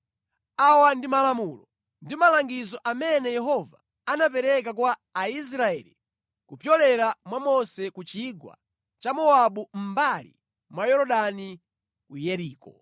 Awa ndi malamulo ndi malangizo amene Yehova anapereka kwa Aisraeli kupyolera mwa Mose ku chigwa cha Mowabu mʼmbali mwa Yorodani, ku Yeriko.